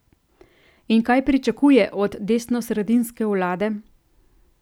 In kaj pričakuje od desnosredinske vlade?